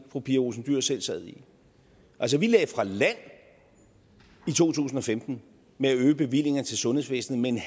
fru pia olsen dyhr selv sad i altså vi lagde fra land i to tusind og femten med at øge bevillingen til sundhedsvæsenet med